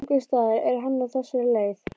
Einhversstaðar er hann á þessari leið.